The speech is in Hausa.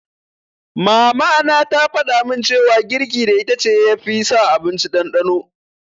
Mama na ta faɗamin cewa girki da itace ya fi sa abinci ɗanɗano